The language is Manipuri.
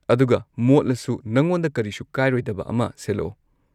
ꯑꯗꯨꯒ, ꯃꯣꯠꯂꯁꯨ ꯅꯉꯣꯟꯗ ꯀꯔꯤꯁꯨ ꯀꯥꯏꯔꯣꯏꯗꯕ ꯑꯃ ꯁꯦꯠꯂꯛꯑꯣ꯫